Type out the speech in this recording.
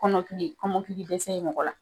Kɔnɔkili kɔmɔtili dɛsɛ ye mɔgɔw la